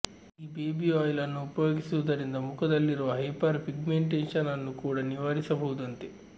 ಈ baby oil ಅನ್ನು ಉಪಯೋಗಿಸುವುದರಿಂದ ಮುಖದಲ್ಲಿರುವ ಹೈಪರ್ ಪಿಗ್ಮೆಂಟೇಷನ್ ಅನ್ನು ಕೂಡ ನಿವಾರಿಸಬಹುದಂತೆ